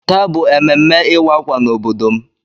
Taa bụ ememme ịwa ákwà n'obodo m.